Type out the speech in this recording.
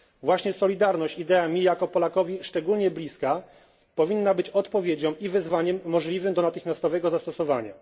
Właśnie solidarność idea mi, jako Polakowi, szczególnie bliska powinna być odpowiedzią i wyzwaniem możliwym do natychmiastowego zastosowania.